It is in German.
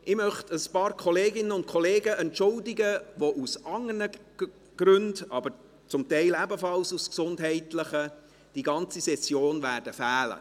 Ich möchte ein paar Kolleginnen und Kollegen entschuldigen, die aus anderen Gründen, zum Teil ebenfalls aus gesundheitlichen, während der gesamten Session fehlen werden.